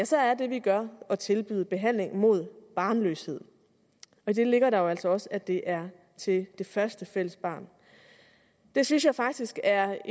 så er det vi gør at tilbyde behandling mod barnløshed i det ligger jo altså også at det er til første fælles barn det synes jeg faktisk er